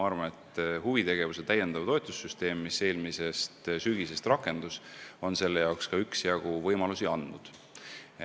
Huvitegevuse täiendava toetuse süsteem, mis eelmisest sügisest rakendus, on selle jaoks ka üksjagu võimalusi andnud.